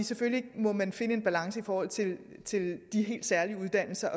selvfølgelig må man finde en balance i forhold til til de helt særlige uddannelser